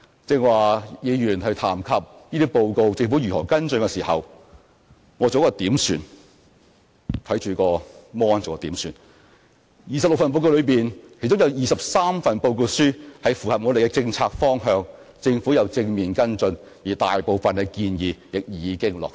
剛才議員談及政府如何跟進這些報告，我剛才看着電腦屏幕作了點算，在26份報告書中，有23份報告書符合我們的政策方向，政府有正面跟進，而大部分的建議亦已經落實。